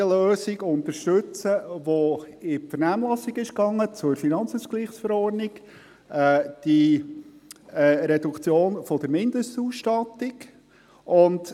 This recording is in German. Der eine Teil der Fraktion unterstützt jene Lösung, die in die Vernehmlassung zur FILAV gegangen ist: die Reduktion der Mindestausstattung.